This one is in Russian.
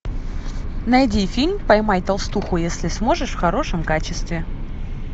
найди фильм поймай толстуху если сможешь в хорошем качестве